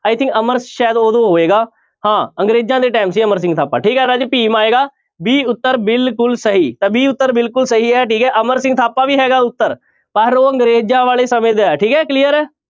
I think Amar ਸ਼ਾਇਦ ਉਦੋਂ ਹੋਏਗਾ ਹਾਂ ਅੰਗਰੇਜ਼ਾਂ ਦੇ time ਸੀ ਅਮਰ ਸਿੰਘ ਥਾਪਾ ਠੀਕ ਹੈ ਰਾਜੇ ਭੀਮ ਆਏਗਾ b ਉੱਤਰ ਬਿਲਕੁਲ ਸਹੀ, ਤਾਂ b ਉੱਤਰ ਬਿਲਕੁਲ ਸਹੀ ਹੈ ਠੀਕ ਹੈ ਅਮਰ ਸਿੰਘ ਥਾਪਾ ਵੀ ਹੈਗਾ ਉੱਤਰ ਪਰ ਉਹ ਅੰਗਰੇਜ਼ਾਂ ਵਾਲੇ ਸਮੇਂ ਦਾ ਹੈ ਠੀਕ ਹੈ clear ਹੈ।